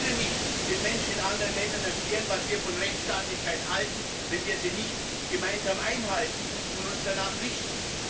Wir können nicht den Menschen in anderen Ländern erklären, was wir von Rechtsstaatlichkeit halten, wenn wir sie nicht gemeinsam einhalten und uns danach richten.